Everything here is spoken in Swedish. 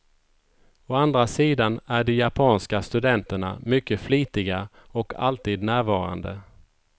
Å andra sidan är de japanska studenterna mycket flitiga och alltid närvarande.